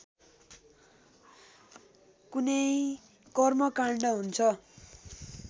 कुनै कर्मकाण्ड हुन्छ